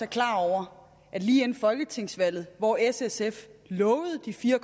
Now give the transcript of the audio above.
klar over at lige inden folketingsvalget hvor s og sf lovede de fire